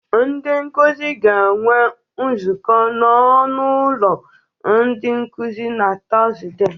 Ndị nkụzị ga-enwe nzọkụ n'ọnụ ụlọ ndị nkụzị na Tọzde.